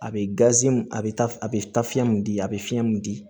A bɛ a bɛ a bɛ taa fiɲɛ min di a bɛ fiɲɛ min di